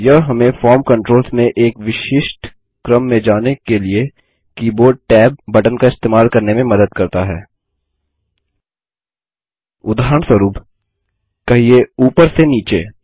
यह हमें form controls में एक विशिष्ट क्रम में जाने के लिए कीबोर्ड टैब बटन का इस्तेमाल करने में मदद करता है उदाहरणस्वरुप कहिये ऊपर से नीचे